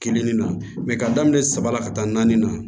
Kelenni na ka daminɛ saba la ka taa naani na